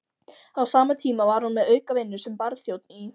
Á sama tíma var hún með aukavinnu sem barþjónn í